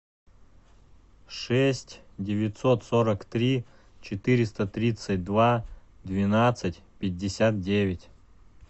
шесть девятьсот сорок три четыреста тридцать два двенадцать пятьдесят девять